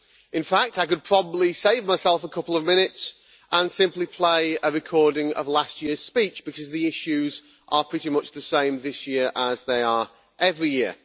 In fact, I could probably save myself a couple of minutes and simply play a recording of last year's speech, because the issues are pretty much the same this year as they are every year.